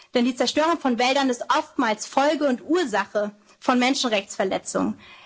eine soziale. Denn die Zerstörung von Wäldern ist oftmals Folge und Ursache von Menschenrechtsverletzungen.